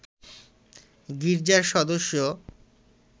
গির্জার সদস্য